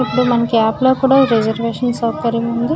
ఇప్పుడు మనకు యాప్ లో కూడా ఈ రిసర్వేషన్ సౌకర్యం ఉంది.